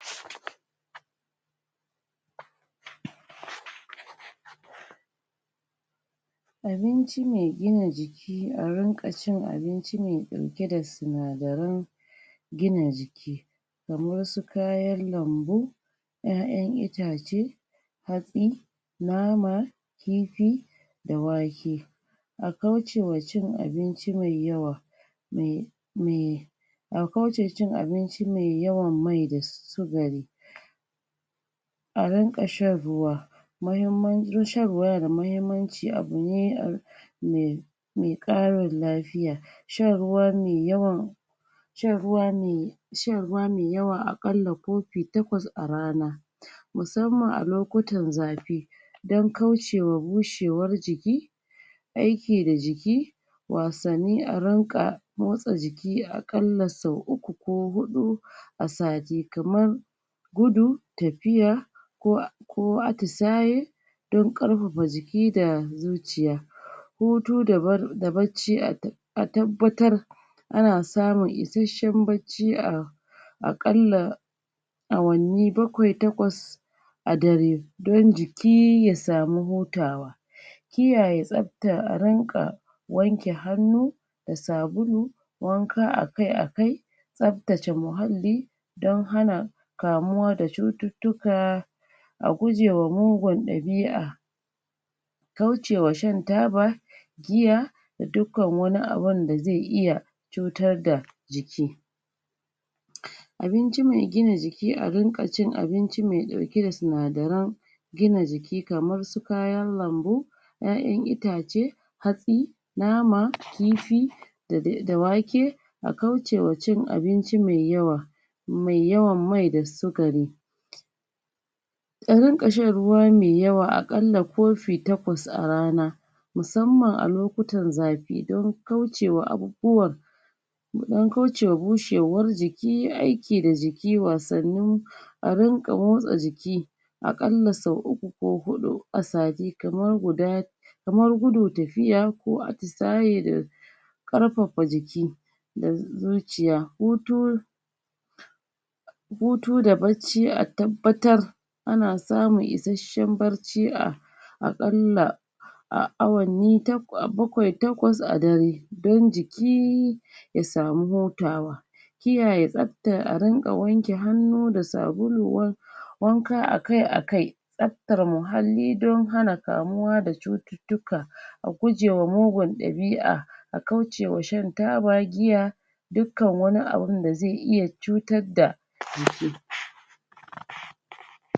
Abinci mai gina jiki a rinƙa cin abinci mai ɗauke da sinadaran gina jiki kamar su kayan lambu ƴaƴan itace hatsi nama kifi da wake a kaucewa cin abinci mai yawa mai? a kauce cin abinci mai yawan mai da sukari a rinƙa shan ruwa shan ruwa yana da mahimmanci abune mai mai ƙara lafiya shan ruwa mai yawa shan ruwa mai shan ruwa yawa a ƙalla kofi takwas a rana musamman a lokutan zafi don kaucewa bushewar jiki aiki da jiki wasanni a rinƙa motsa jiki a ƙalla sau uku ko huɗu a sati kaman gudu tafiya? ko atisaye don ƙarfafa jiki da zuciya hutu da bacci. A tabbatar ana samun isashen bacci a a ƙalla awanni bakwai takwas a dare don jiki ya samu hutawa kiyaye tsafta a rinƙa wanke hannu da sabulu wanka a kai a kai tsaftace muhalli don hana kamuwa da cututtuka a gujewa mugun ɗabi'a kaucewa shan taba giya da dukkan wani abun da zai iya cutar da jiki abinci maigina jiki. a rinƙa cin abinci mai ɗauke da sinadaran gina jiki kamar su kayan lambu ƴaƴan itace hatsi nama, kifi da wake a kwucewa cin abinci mai yawa mai yawan mai da sukari ya rinƙa shan ruwa mai yawa a ƙalla kofi takwas a rana musamman a lokacin zafi don kaucewa abubuwan mu ɗan kaucewa bushewar jiki, aiki da jiki, wasannin a rinƙa motsa jiki a ƙalla sau uku ko huɗu a sati kamar guda kamar gudu, tafiya ko atisaye da ƙarfafa jiki da zuciya. hutu hutu da bacci. a tabbatar ana samun isashen bacci a a ƙalla awanni bakwai takwas a dare don jiki ya samu hutawa a kiyaye tsafta. a rinƙa wanke hannu da sabulu wanka a kai a kai tsaftar muhalli don hana kamuwa da cututtuka a guje ma mugun ɗabi'a a kaucewa shan taba, giya dukkan wani abunda zai iya cutar da jiki.